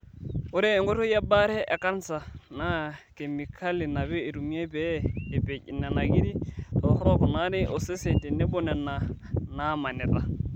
Ore enkoitoi e baare e kansa naa kemikali naapi eitumiyai pee epej nena kiri torok naati osesen tenebo nena naamanita.